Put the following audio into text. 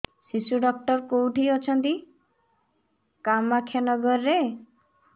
ଶିଶୁ ଡକ୍ଟର କୋଉଠି ଅଛନ୍ତି କାମାକ୍ଷାନଗରରେ